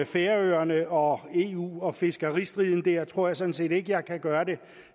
færøerne og eu og fiskeristriden der tror jeg sådan set ikke jeg kan gøre det